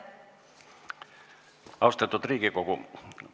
Austatud Riigikogu!